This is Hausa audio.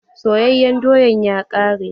Soyayen doyan ya ƙare.